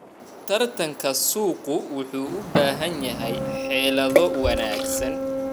Tartanka suuqu wuxuu u baahan yahay xeelado wanaagsan.